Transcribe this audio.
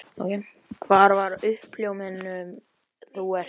Hvar var uppljómunin þú ert þú?